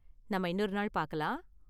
நாம இன்னொரு நாள் பாக்கலாம்.